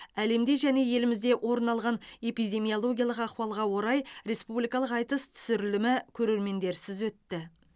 әлемде және елімізде орын алған эпидемиологиялық ахуалға орай республикалық айтыс түсірілімі көрермендерсіз өтті